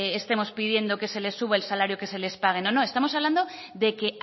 estemos pidiendo que se les suba el salario que se les pague no estamos hablando de que